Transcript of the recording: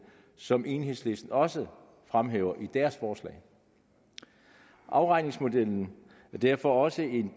som enhedslisten også fremhæver i deres forslag afregningsmodellen er derfor også en